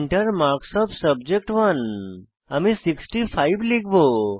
Enter marks of subject one আমি 65 লিখব